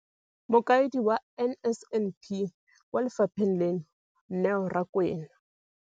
Mokaedi wa NSNP kwa lefapheng leno, Neo Rakwena.